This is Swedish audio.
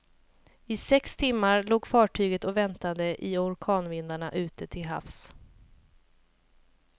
I sex timmar låg fartyget och väntade i orkanvindarna ute till havs.